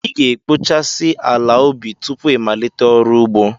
Ị ga-ekpochasị ala ubi tupu ịmalite ọrụ ugbo.